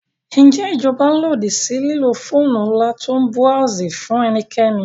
Ǹjẹ́ ìjọba lòdì sí lílo fóònù ńlá tó ń búráósì fún ẹnikẹ́ni?